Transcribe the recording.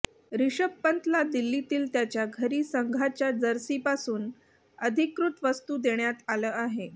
रिषभ पंतला दिल्लीतील त्याच्या घरी संघाच्या जर्सीपासून अधिकृत वस्तू देण्यात आलं आहे